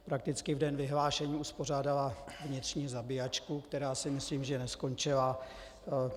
Prakticky v den vyhlášení uspořádala vnitřní zabijačku, která si myslím, že neskončila.